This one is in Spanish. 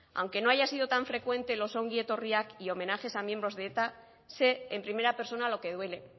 aunque no haya sido tan frecuente los ongi etorriak y homenajes a miembros de eta sé en primera persona lo que duele